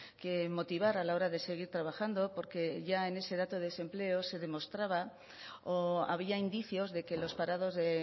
que motivar a la hora de seguir trabajando porque ya en ese dato de desempleo se demostraba o había indicios de que los parados de